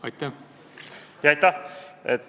Aitäh!